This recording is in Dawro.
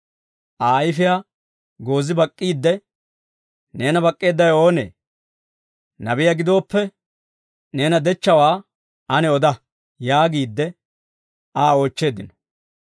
Aa ayfiyaa goozi bak'k'iide, «Neena bak'k'eeddawe oonee? Nabiyaa gidooppe neena dechchawaa ane oda» yaagiide Aa oochcheeddino.